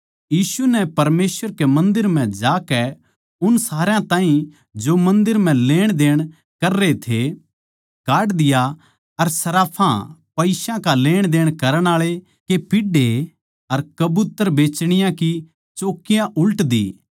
यीशु नै परमेसवर कै मन्दर म्ह जाकै उन सारया ताहीं जो मन्दर म्ह लेणदेण कररे थे काढ दिया अर सर्राफां पईसा का लेण देण करण आळे के पीढ़े अर कबूतर बेचणीयाँ की चौकियाँ उल्ट दी